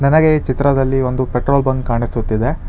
ನನಗೆ ಈ ಚಿತ್ರದಲ್ಲಿ ಒಂದು ಪೆಟ್ರೋಲ್ ಬಂಕ್ ಕಾಣಿಸುತ್ತಿದೆ.